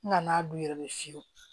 N ŋ'a don u yɛrɛ de fiyewu